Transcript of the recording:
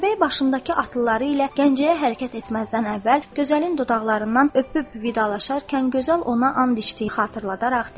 Atabəy başındakı atlıları ilə Gəncəyə hərəkət etməzdən əvvəl gözəlin dodaqlarından öpüb vidalaşarkən gözəl ona and içdiyini xatırladaraq dedi.